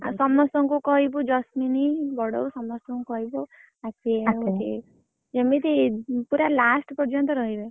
ଆଉ ସମସ୍ତଙ୍କୁ କହିବୁ ଜସ୍ମିନୀ ବଡବୋଉ ସମସ୍ତଂକୁ କହିବୁ ଯେମିତି ପୁରା last ପର୍ଯ୍ୟନ୍ତ ରହିବେ।